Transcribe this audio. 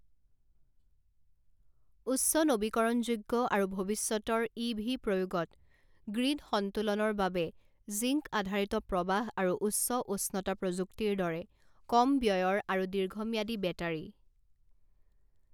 উচ্চ নৱীকৰণযোগ্য আৰু ভৱিষ্যতৰ ই ভি প্ৰয়োগত গ্ৰিড সন্তুলনৰ বাবে জিংক আধাৰিত প্ৰবাহ আৰু উচ্চ উষ্ণতা প্ৰযুক্তিৰ দৰে কম ব্যয়ৰ আৰু দীৰ্ঘম্যাদী বেটাৰী।